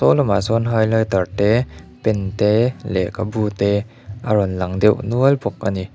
saw lama sawn highlighter te pen te lekhabu te a rawn lang deuh nual bawk a ni.